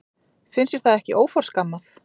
Finnst þér það ekki óforskammað?